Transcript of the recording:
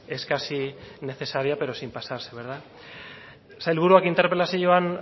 es casi necesaria pero sin pasarse sailburuak interpelazioan